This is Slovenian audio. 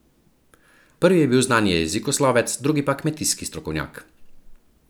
Prvi je bil znani jezikoslovec, drugi pa kmetijski strokovnjak.